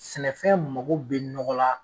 Sɛnɛfɛn mago be nɔgɔ la